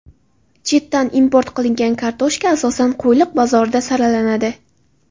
Chetdan import qilingan kartoshka asosan Qo‘yliq bozorida saralanadi.